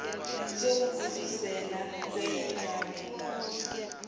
zokugudluzela kwenye indawo